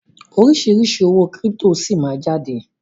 Oríṣiríṣi owó kírípítò síí máa ma jáde.